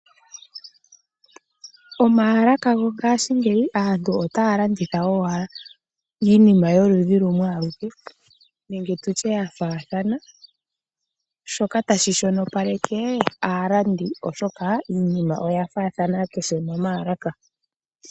Omaalaka gongashingeyi aantu otaya landitha owala iinima yoludhi lumwe aluke nenge tu tye ya faathana shoka tashi shonopaleke aalandi oshoka iinima oya faathana kehe momaalaka.